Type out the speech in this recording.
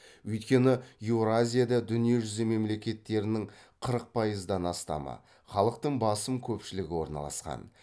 өйткені еуразияда дүние жүзі мемлекеттерінің қырық пайыздан астамы халықтың басым көпшілігі орналасқан